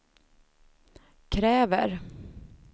kräver